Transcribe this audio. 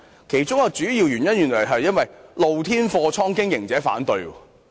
其中一個主要原因是露天貨倉的經營者反對。